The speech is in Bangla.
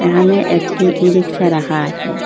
এখানে একটি ই_রিকশা রাখা আছে।